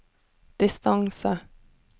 distance